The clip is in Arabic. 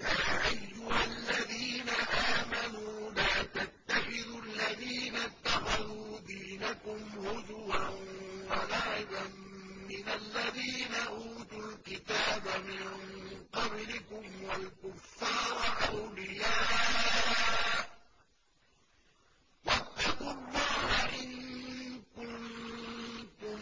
يَا أَيُّهَا الَّذِينَ آمَنُوا لَا تَتَّخِذُوا الَّذِينَ اتَّخَذُوا دِينَكُمْ هُزُوًا وَلَعِبًا مِّنَ الَّذِينَ أُوتُوا الْكِتَابَ مِن قَبْلِكُمْ وَالْكُفَّارَ أَوْلِيَاءَ ۚ وَاتَّقُوا اللَّهَ إِن كُنتُم